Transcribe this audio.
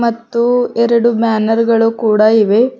ಮತ್ತು ಎರಡು ಬ್ಯಾನರ್ ಗಳು ಕೂಡ ಇವೆ.